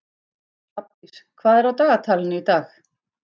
Hrafndís, hvað er á dagatalinu í dag?